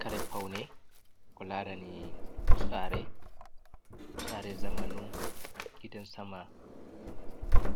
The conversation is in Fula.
Kare paune ko larani sare, sare zamanu gidan sama